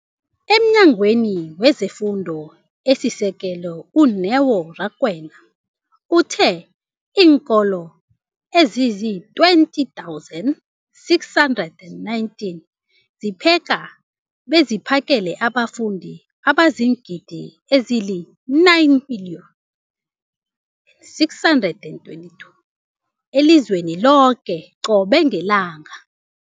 EmNyangweni wezeFundo esiSekelo, u-Neo Rakwena, uthe iinkolo ezizi-20 619 zipheka beziphakele abafundi abangaba ziingidi ezili-9 000 622 elizweni loke qobe ngelanga.